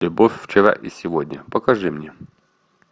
любовь вчера и сегодня покажи мне